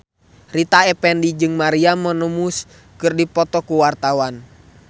Rita Effendy jeung Maria Menounos keur dipoto ku wartawan